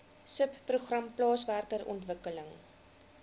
subprogram plaaswerker ontwikkeling